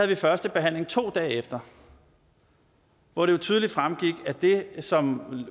vi første behandling to dage efter hvor det jo tydeligt fremgik at det som